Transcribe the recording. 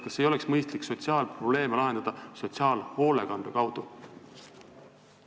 Kas ei oleks mõistlik sotsiaalprobleeme lahendada sotsiaalhoolekande kaudu?